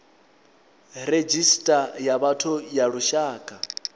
redzhisita ya vhathu ya lushaka